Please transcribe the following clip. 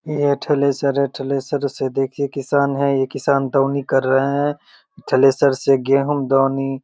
ये थ्रेसर है थ्रेसर से देखिए ये किसान है ये किसान दौनी कर रहे हैं थ्रेसर से गेहूं दौनी --